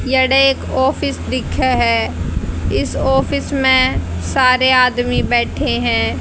यडे एक ऑफिस दिक्खे है इस ऑफिस में सारे आदमी बैठे हैं।